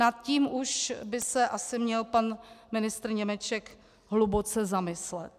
Nad tím už by se asi měl pan ministr Němeček hluboce zamyslet.